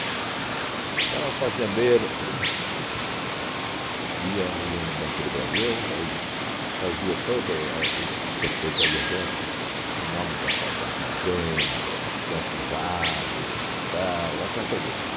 Então o fazendeiro uhn ia ia no Banco do Brasil, ele fazia tudo a isso que você fez aí agora, o nome da fa da fazenda, quanto vale, tal, essa coisa toda.